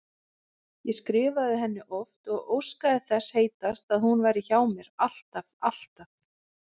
Ég skrifaði henni oft og óskaði þess heitast að hún væri hjá mér, alltaf, alltaf.